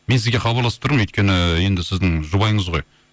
мен сізге хабарласып тұрмын өйткені енді сіздің жұбайыңыз ғой